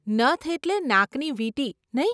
નથ એટલે નાકની વીંટી, નહીં?